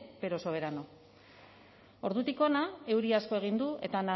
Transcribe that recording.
pero soberano ordutik hona euri asko egin du eta